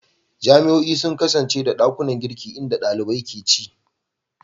Jami'o'i sun kasance da ɗakunan girki inda ɗalibai ke ci.